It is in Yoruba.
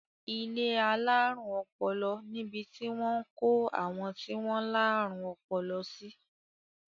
Ilé alárùn ọpọlọ nibi tí wọ́n ń kó àwọn tí wọ́n láárùn ọpọlọ sí.